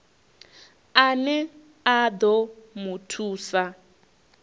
ane a ḓo mu thusa